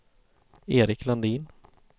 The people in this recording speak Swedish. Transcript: Erik Landin